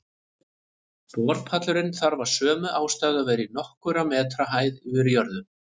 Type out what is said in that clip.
Borpallurinn þarf af sömu ástæðu að vera í nokkurra metra hæð yfir jörðu.